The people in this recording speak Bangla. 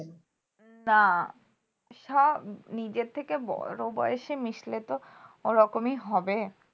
তা সব নিজের থেকে বড়ো বয়সে মিশলে তো ও রকমই হবে